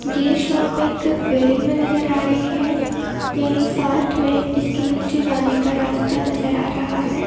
ये शॉप एक वेडिंग में नजर आ रही है यहीं साथ में इसके नीचे जाने का रास्ता नजर आ रहा है।